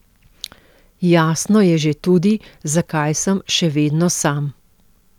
Jasno je že tudi, zakaj sem še vedno sam.